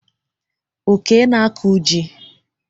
Oke na-akụ ji.